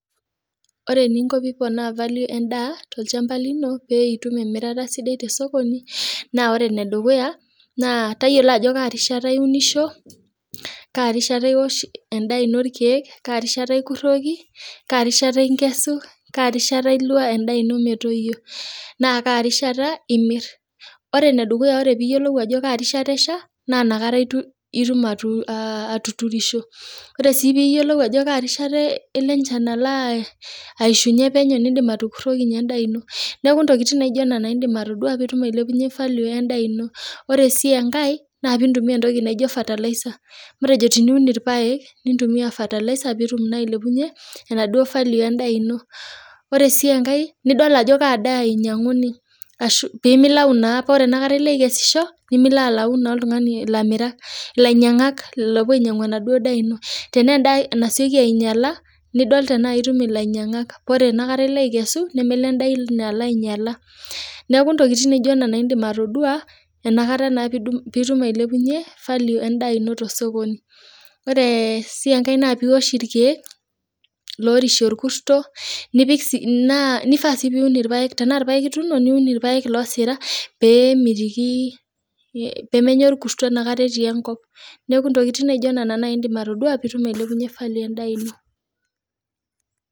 Ore eninko teniponaa value endaa too olchamba lino pee etum emirata sidai too sokoni naa ore enedukuya tayiolo Ajo maata ewuniso Kaa kata ewosh irkeek Kaa kata ikuroki karishata enkesu endaa eno metoyio naa karishata emir ore enedukuya ore pee eyiolou Ajo Kaa rishata eshaa naa enakata etum atuturisho ore sii pee eyiolou Ajo Kaa rishata elo enchan ayishunye penyo edim atukuroki endaa eno neeku entokitin naijio Nena edim atodua pee etum ailepunye value endaa eno ore sii enkae naa pee entumia entoki naijio fertilizer matejo teniun irpaek nintumia fertilizer pee etum ailepunye enaduo value endaa eno ore sii enkae nidol Ajo kadaa einyianguni ashu pee milau ashu ore enakata elo aikesisho nimilau naa elamirak lainyiangak oo puo ainyiang'u enaduo daa eno tenaa endaa nasioki ainyiala nidol tenaa etum elainyiangak paa ore enakata elo aikesu nemelo endaa eno ainyiala neeku ntokitin naijio Nena edim atodua enakata pee etum ailepunye value endaa eno too sokoni ore sii enkae naa pee ewosh irkeek loorishe orkurto naifaa sii oree paa irpaek etuno niun irpaek loosita pee menya orkurto etii enkop neeku entokitin naijio Nena edimatodua pee etum ailepunye value endaa eno